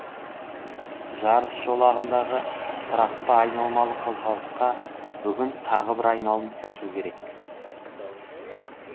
жарыс жолағындағы тұрақты айналмалы қозғалысқа бүгін тағы бір айналым қосу керек